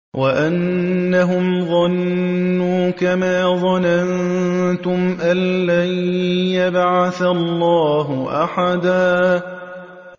وَأَنَّهُمْ ظَنُّوا كَمَا ظَنَنتُمْ أَن لَّن يَبْعَثَ اللَّهُ أَحَدًا